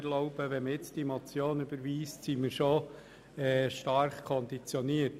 Würde die Motion jetzt überwiesen, wären wir bereits stark konditioniert.